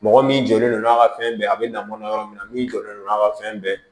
Mɔgɔ min jɔlen don n'a ka fɛn bɛɛ a bɛ na yɔrɔ min na min jɔlen don a ka fɛn bɛɛ